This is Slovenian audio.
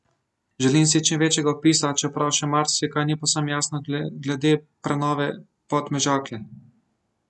Želim si čim večjega vpisa, čeprav še marsikaj ni povsem jasno glede prenove Podmežakle.